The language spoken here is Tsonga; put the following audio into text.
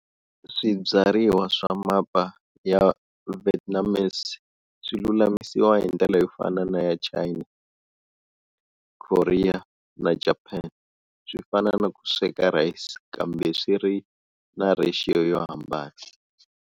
Swibyariwa swa mapa ya Vietnamese swi lulamisiwa hindlela yofana na ya China, Korea na Japan-swifana na ku sweka rice kambe swiri na ratio yohambana.